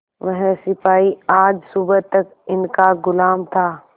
वह सिपाही आज सुबह तक इनका गुलाम था